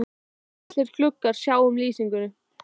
Tveir litlir gluggar sjá um lýsingu